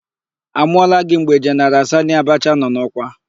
A mụọla gị mgbe Jeneral Sanị Abacha nọ n'ọkwa?